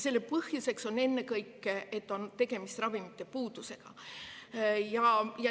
Põhjus on ennekõike see, et on tegemist ravimi puudusega.